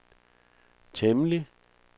temmelig